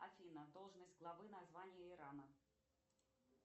афина должность главы на звание ирана